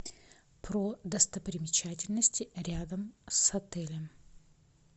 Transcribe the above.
про достопримечательности рядом с отелем